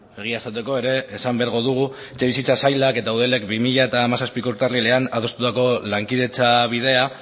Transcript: egia esateko ere esan beharko dugu etxebizitza sailak eta eudelek bi mila hamazazpiko urtarrilean adostutako lankidetza bidea